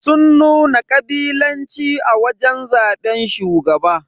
Sun nuna kabilanci a wajen zaban shugaba.